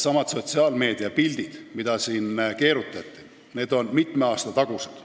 ... ja sotsiaalmeedia pildid, mida siin keerutati, on mitme aasta tagused.